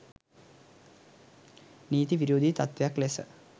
නීති විරෝධී තත්ත්වයක් ලෙස